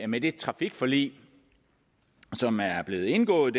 med det trafikforlig som er blevet indgået